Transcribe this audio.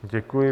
Děkuji.